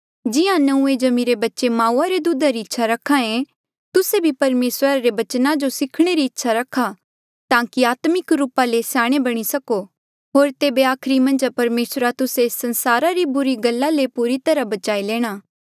जिहां नंऊँऐं जम्मिरे बच्चे माऊआ रे दुधा री इच्छा रखे तुस्से भी परमेसरा रे बचना जो सीखणे री इच्छा रखा ताकि आत्मिक रूपा ले स्याणे बणी सको होर तेबे आखरी मन्झ परमेसरा तुस्से एस संसारा री बुरी गल्ला ले पूरी तरहा बचाई लेणे